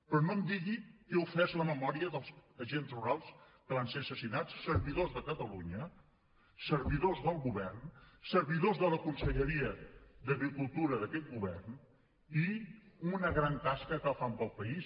però no em digui que he ofès la memòria dels agents rurals que van ser assassinats servidors de catalunya servidors del govern servidors de la conselleria d’agricultura d’aquest govern i una gran tasca que fan pel país